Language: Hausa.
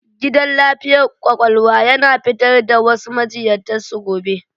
Gidan lafiyar kwakwalwa yana fitar da wasu majiyyatan su gobe.